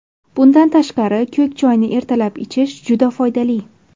Bundan tashqari, ko‘k choyni ertalab ichish juda foydali.